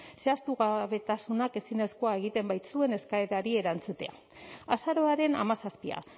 zehaztugabetasunak ezinezkoa egiten baitzuen eskaerari erantzutea azaroaren hamazazpia